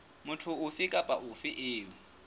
motho ofe kapa ofe eo